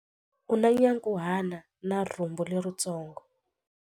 U na nyankhuhana na rhumbu leritsongo.